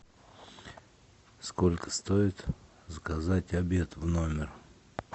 сколько стоит заказать обед в номер